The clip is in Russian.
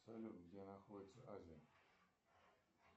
салют где находится азия